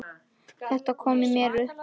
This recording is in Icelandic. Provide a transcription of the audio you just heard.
Þetta kom mér í uppnám